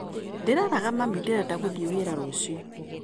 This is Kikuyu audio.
Ndĩreraga mami ndirenda gũthiĩ wĩra rũciũ.